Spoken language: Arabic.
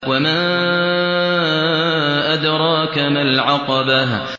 وَمَا أَدْرَاكَ مَا الْعَقَبَةُ